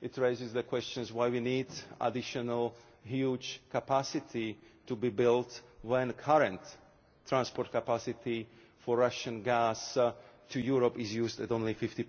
It raises the question of why we need additional huge capacity to be built when the current transport capacity for Russian gas to Europe is used at only 50.